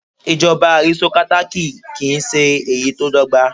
Ìjọba arisitokátákì kì ń ṣe èyí tí dọ́gba.